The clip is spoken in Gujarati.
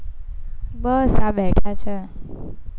બસ આ બેઠા છે.